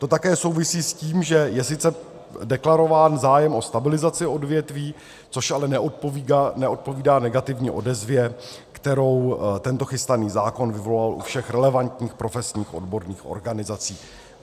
To také souvisí s tím, že je sice deklarován zájem o stabilizaci odvětví, což ale neodpovídá negativní odezvě, kterou tento chystaný zákon vyvolal u všech relevantních profesních odborných organizací.